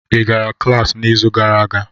Ị gara klas n'izu gara aga?